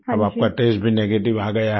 अब आपका टेस्ट भी नेगेटिव आ गया है